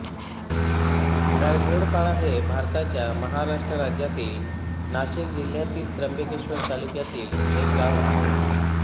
वायघोळपाडा हे भारताच्या महाराष्ट्र राज्यातील नाशिक जिल्ह्यातील त्र्यंबकेश्वर तालुक्यातील एक गाव आहे